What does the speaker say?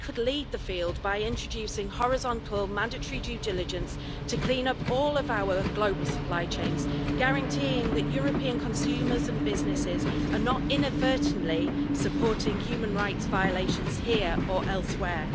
We could lead the field by introducing horizontal mandatory due diligence to clean up all of our global supply chains, guaranteeing that European consumers and businesses are not inadvertently supporting human rights violations here or elsewhere.